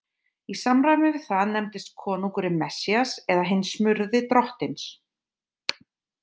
Í samræmi við það nefndist konungurinn Messías eða hinn smurði Drottins.